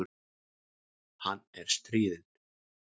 Hann er stríðinn.